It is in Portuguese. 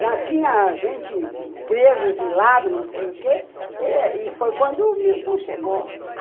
Já tinha gente presa, exilada, não sei o quê, e foi quando o Milton chegou.